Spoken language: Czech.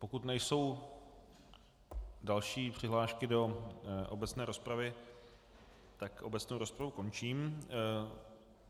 Pokud nejsou další přihlášky do obecné rozpravy, tak obecnou rozpravu končím.